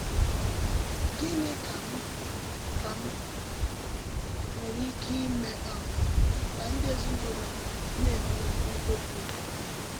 Gínị kà m kà m nwere ike ímé um kà ndí èzìnúlò m na-ènwekwú òbì ụ̀tó?